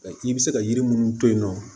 I bɛ se ka yiri munnu to yen nɔ